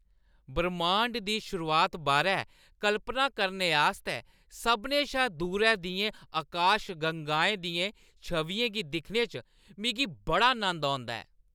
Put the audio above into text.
ब्रह्माण्ड दी शुरुआत बारै कल्पना करने आस्तै सभनें शा दूरै दियें आकाशगंगाएं दियें छवियें गी दिक्खने च मिगी बड़ा नंद औंदा ऐ।